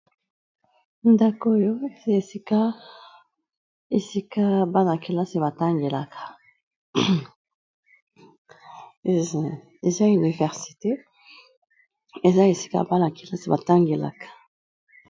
Ndako oyo esika bana kelasi ba tangelaka eza université, eza esika bana kelasi ba tangelaka.